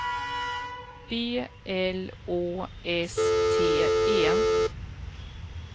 B L Å S T E